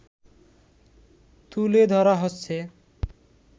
তুলে ধরা হচ্ছে